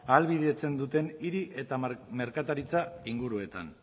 ahalbidetzen duten hiri eta merkataritza inguruetan